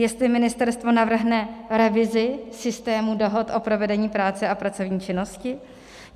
Jestli ministerstvo navrhne revizi systému dohod o provedení práce a pracovní činnosti.